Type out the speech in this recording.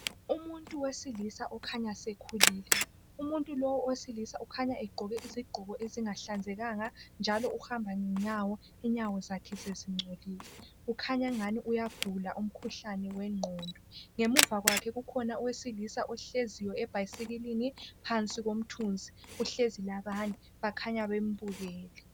Umunty wesilisa okhanya sekhulile umuntu lo umuntu lo owesilisa ukhanya egqoke isigqoko esingahlanzekanga njalo uhamba ngenyawo inyawo zakhe sezingcolile ukhanya engani uyagula umkhuhlane wegqondo ngemuva kwakhe kukhona owesilisa ohleziyo ebhayisikilini phansi komthunzi kuhlezi labanye kukhanya bembukele